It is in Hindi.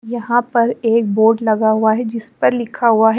यहां पर एक बोर्ड लगा हुआ है जिस पर लिखा हुआ है।